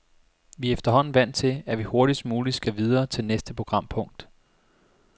Vi er efterhånden vant til, at vi hurtigst muligt skal videre til næste programpunkt.